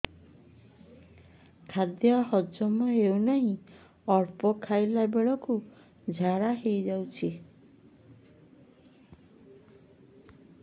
ଖାଦ୍ୟ ହଜମ ହେଉ ନାହିଁ ଅଳ୍ପ ଖାଇଲା ବେଳକୁ ଝାଡ଼ା ହୋଇଯାଉଛି